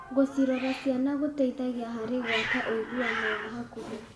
Gũcirora ciana gũteithagia harĩ gwaka ũiguano wa hakuhĩ.